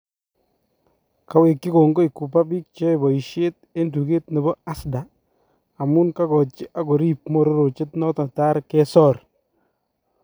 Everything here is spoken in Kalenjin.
Kawekyii kongoi Cooper biik cheyae boyisyeet en tukeet nebo Asda amun kakochi ak koriib mororochet noto taar kesoor